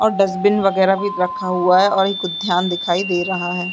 और डस्टबिन वगेरा भी रखा हुआ है और एक उध्यान दिखाई दे रहा है।